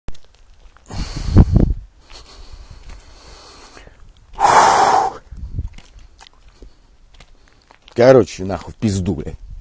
короче на хуй в пизду бля